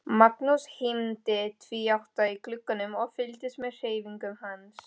Magnús hímdi tvíátta í glugganum og fylgdist með hreyfingum hans.